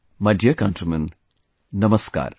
My dear countrymen, Namaskar